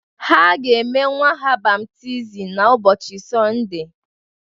Ha ga-eme nwa ha baptizim n’ụbọchị Sọnde